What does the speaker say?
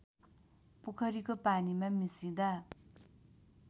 पोखरीको पानीमा मिसिदा